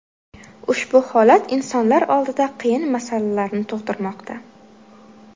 Ushbu holat insonlar oldida qiyin masalalarni tug‘dirmoqda.